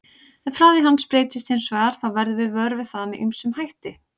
Ef hraði hans breytist hins vegar þá verðum við vör við það með ýmsum hætti.